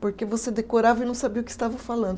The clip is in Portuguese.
Porque você decorava e não sabia o que estava falando.